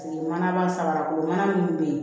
Paseke manaba saba kolo mana minnu bɛ yen